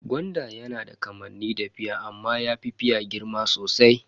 Gwanda yana da kamanni da fia amma yafi fia girma sosai.